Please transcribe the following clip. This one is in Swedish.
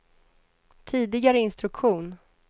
tidigare instruktion